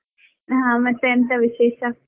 ಹಾ ಮತ್ತೆ ಎಂತಾ ವಿಶೇಷಾ?